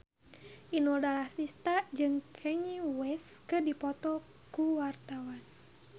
Inul Daratista jeung Kanye West keur dipoto ku wartawan